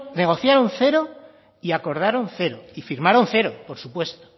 negociaron cero y acordaron cero y firmaron cero por supuesto